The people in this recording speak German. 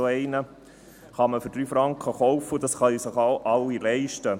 Man kann ihn für 3 Franken kaufen, und das können sich auch alle leisten.